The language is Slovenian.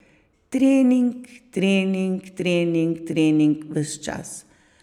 Trening, trening, trening, trening ves čas.